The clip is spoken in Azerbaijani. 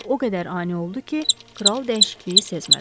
Bu o qədər ani oldu ki, kral dəyişikliyi sezmədi.